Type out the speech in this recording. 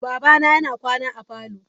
Babana yana kwana a parlour.